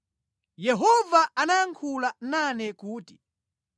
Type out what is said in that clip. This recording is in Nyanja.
Yehova anayankhula nane kuti,